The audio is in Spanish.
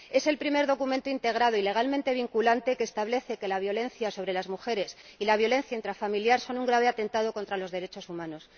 Es el primer documento integrado y legalmente vinculante que establece que la violencia sobre las mujeres y la violencia intrafamiliar son un grave atentado contra los derechos humanos.